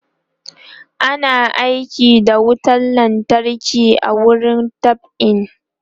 ana aiki da wutan lantarki a wurin dab'i